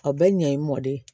A bɛ ɲɛ mɔ de